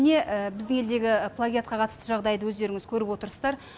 міне біздің елдегі плагиатқа қатысты жағдайды өздеріңіз көріп отсыздар